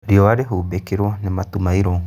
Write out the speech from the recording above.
Riũa rĩhumbĩkirwo nĩ matu mairũ